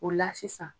O la sisan